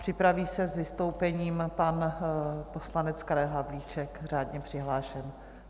Připraví se s vystoupením pan poslanec Karel Havlíček, řádně přihlášený.